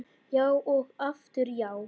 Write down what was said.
Já og aftur já.